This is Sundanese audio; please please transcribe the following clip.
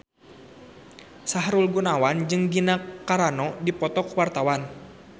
Sahrul Gunawan jeung Gina Carano keur dipoto ku wartawan